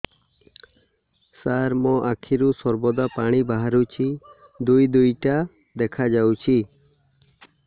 ସାର ମୋ ଆଖିରୁ ସର୍ବଦା ପାଣି ବାହାରୁଛି ଦୁଇଟା ଦୁଇଟା ଦେଖାଯାଉଛି